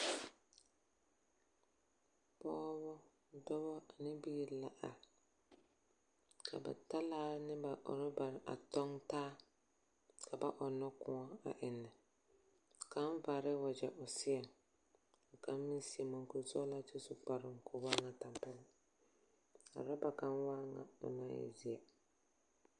Pɔgeba ,dɔba ane biiri la are, ka bataalare ne ba orabare a tɔŋ taa ka baɔnnɔ kõɔ ennɛ. Ka` pare wagyɛ o seɛŋ ka kaŋ meŋ su muŋkuri sɔgelaa kyɛ su kparoŋ ka o waany tampɛloŋ a oraba kaŋ waa bone naŋ e zeɛ